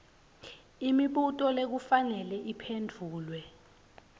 imibuto lekufanele iphendvulwe